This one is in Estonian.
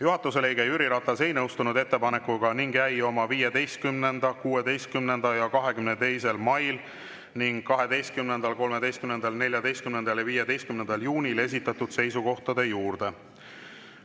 Juhatuse liige Jüri Ratas ei nõustunud ettepanekuga ning jäi oma 15., 16. ja 22. mail ning 12., 13., 14. ja 15. juunil esitatud seisukohtade juurde.